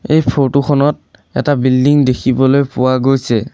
এই ফটো খনত এটা বিল্ডিং দেখিবলৈ পোৱা গৈছে।